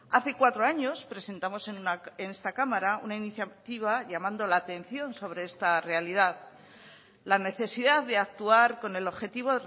hace cuatro años presentamos en esta cámara una iniciativa llamando la atención sobre esta realidad la necesidad de actuar con el objetivo